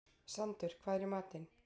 Sandur, hvað er í matinn?